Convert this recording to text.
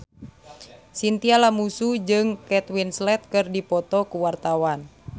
Chintya Lamusu jeung Kate Winslet keur dipoto ku wartawan